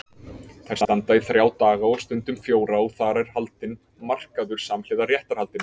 Þær standa í þrjá daga og stundum fjóra og þar er haldinn markaður samhliða réttarhaldinu.